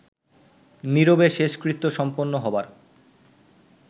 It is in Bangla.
নীরবে শেষকৃত্য সম্পন্ন হবার